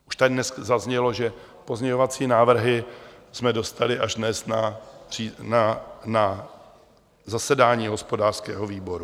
Už tady dnes zaznělo, že pozměňovací návrhy jsme dostali až dnes na zasedání hospodářského výboru.